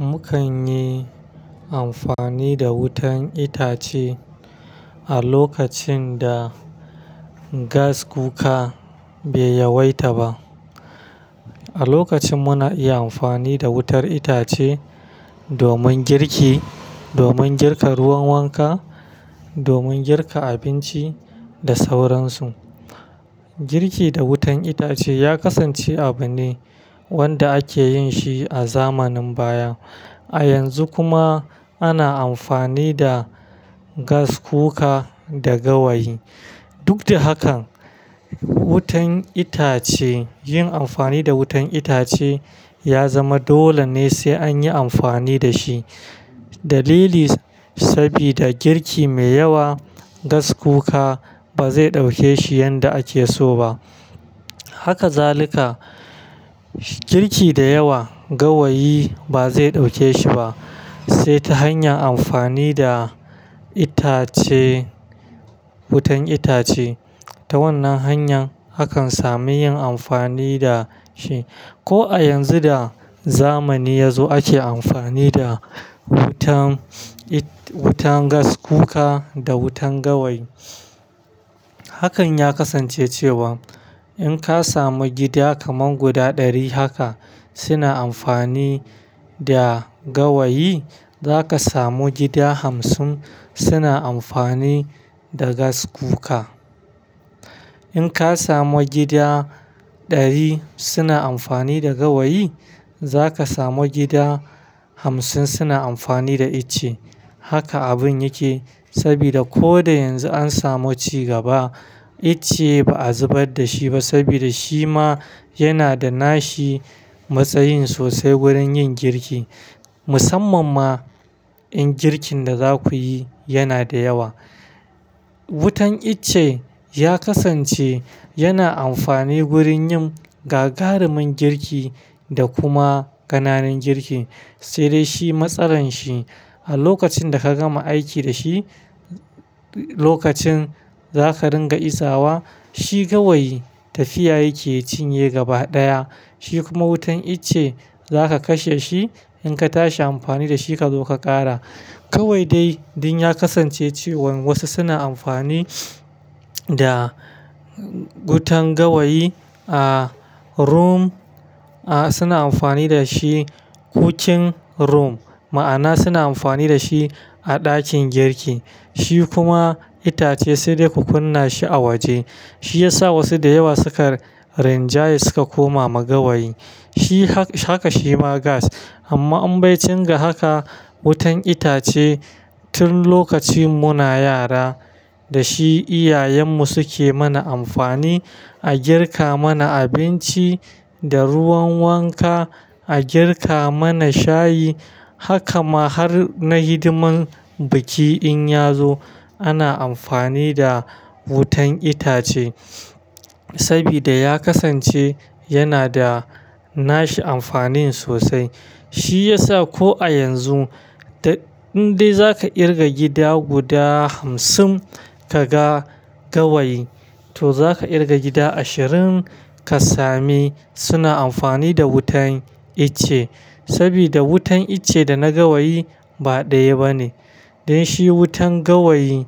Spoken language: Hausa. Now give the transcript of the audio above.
Mukan yi amfani da wutan itace a lokacin da gas cooka bai yawaita ba. A lokacin muna iya amfani da wutar itace domin girki, domin girka ruwan wanka, domin girka abinci da sauransu. Girki da wutan itace ya kasance abu ne wanda ake yin shi a zamanin baya. A yanzu kuma ana amfani da gas cooka da gawayi. Duk da hakan, wutan itace, yin amfani da wutan itace ya zama dole ne sai an yi amfani da shi. Dalili, sabida girki mai yawa gas cooka ba zai ɗauke shi yanda ake so ba. Haka zaluka, girki da yawa gawayi ba zai ɗauke shi ba, sai ta hanyar amfani da itace, wutan itace. Ta wannan hanyar hakan sami yin amfani da shi. Ko a yanzu da zamani ya zo ake amfani da wutan it-- wutan gas cooka da wutan gawayi. Hakan ya kasance cewa in ka samu gida kaman guda ɗari haka suna amfani da gawayi, za ka samu gida hamsin suna amfani da gas cooka. In ka samu gida ɗari suna amfani da gawayi, za ka samu gida hamsin suna amfani da icce. Haka abun yake sabida ko da yanzu an samu cigaba, icce ba a zubar da shi ba saboda shi ma yana da nashi matsayin sosai wurin yin girki. Musamman ma in girkin da za ku yi yana da yawa. Wutan icce ya kasance yana amfani gurin yin gagarumin girki da kuma ƙananan girki. Sai dai shi matsalan shi a lokacin da ka gama aiki da shi, lokacin za ka ringa izawa shi gawayi tafiya yake cinye gaba ɗaya. Shi kuma wutan icce za ka kashe shi in ka tashi amfani da shi ka zo ka ƙara. Kawai dai ɗin ya kasance cewan wasu suna amfani da wutan gawayi a room, a suna amfani da shi kuchin room. Ma'ana suna amfani da shi a ɗakin girki. Shi kuma itace sai dai ku kunna shi a waje. Shi ya sa wasu da yawa suka rinjaya suka koma ma gawayi. Shi h-haka shi ma gas. Amma in baici ga haka wutan itace tun lokacin muna yara, da shi iyayenmu suke mana amfani. A girka mana abinci da ruwan wanka, a girka mana shayi. Haka ma har na hidiman biki in ya zo ana amfani da wutan itace sabida ya kasance yana da nashi amfani sosai. Shi ya sa ko a yanzu, in dai za ka ƙirga gida guda hamsin kaga gawayi, to za ka ƙirga gida ashirin ka sami suna amfani da wutan icce sabida wutan icce da na gawayi ba ɗaya ba ne. Dan shi wutan gawayi